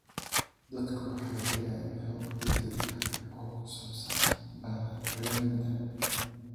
Dadku waxay helayaan xog degdeg ah oo ku saabsan bacriminta.